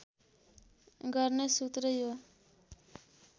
गर्ने सूत्र यो